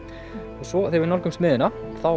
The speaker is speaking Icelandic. svo þegar við nálgumst miðjuna